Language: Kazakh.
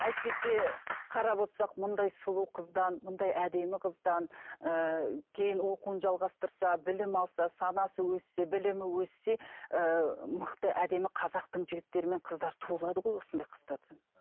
әйтпесе қарап отырсақ мұндай сұлу қыздан мұндай әдемі қыздан ііі кейін оқуын жалғастырса білім алса санасы өссе білімі өссе ііі мықты әдемі қазақтың жігіттері мен қыздары туылады ғой осындай қыздардан